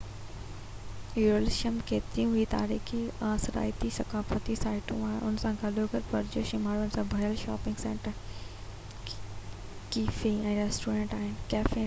يروشلم ۾ ڪيتريون ئي تاريخي آثارياتي ۽ ثقافتي سائيٽون آهن ان سان گڏوگڏ پرجوش ۽ ماڻهن سان ڀريل شاپنگ سينٽر ڪيفي ۽ ريسٽورينٽ آهن